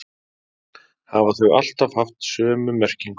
Hafa þau alltaf haft sömu merkingu?